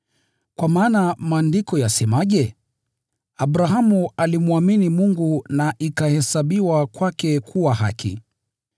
Kwa maana Maandiko yasemaje? “Abrahamu alimwamini Mungu na ikahesabiwa kwake kuwa haki.”